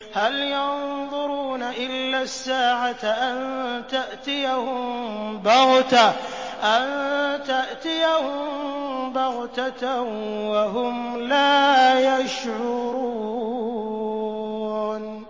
هَلْ يَنظُرُونَ إِلَّا السَّاعَةَ أَن تَأْتِيَهُم بَغْتَةً وَهُمْ لَا يَشْعُرُونَ